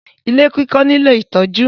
Ilé kíkọ́ nílò ìtọ́jú.